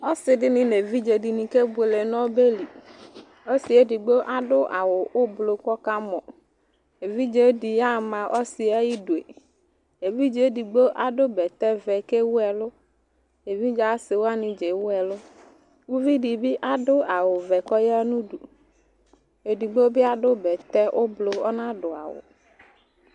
Ɔsi dini nu evidze dini ke boele nu ɔbɛli ɔsiɛ digbo adu awu ublu kɔ ka mɔ evidzedi ya ma ɔsiɛ ayidue evidze digbo bɛtɛ vɛ ke wuɛlue evidze asiwoani dza ewuɛlu uvidi bi adu awu vɛ kɔ ya nu du edigbo bi adu bɛtɛ ublu ɔna du awu